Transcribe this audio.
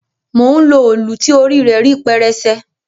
Mò ń lo òlù ti orí rẹ rí pẹrẹsẹ.